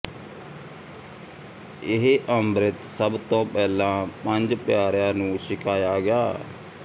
ਇਹ ਅੰਮ੍ਰਿਤ ਸਭ ਤੋਂ ਪਹਿਲਾਂ ਪੰਜ ਪਿਆਰਿਆਂ ਨੂੰ ਛਕਾਇਆ ਗਿਆ